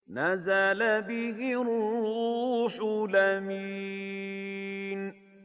نَزَلَ بِهِ الرُّوحُ الْأَمِينُ